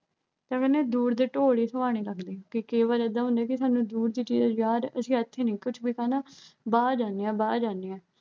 ਤਾਂ ਕਹਿੰਦੇ ਦੂਰ ਦੇ ਢੋਲ ਹੀ ਸੁਹਾਣੇ ਲੱਗਦੇ ਐ ਕਿ ਕੇਵਲ ਐਦਾਂ ਹੁੰਦੈ ਕਿ ਸਾਨੂੰ ਦੂਰ ਦੀ ਚੀਜ਼ ਆਜਾਦ ਨੀ ਕੁੱਝ ਵਿਖਾ ਨਾ ਵਾਹ ਜਾਨੇ ਆ, ਵਾਹ ਜਾਨੇ ਆ।